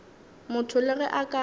motho le ge a ka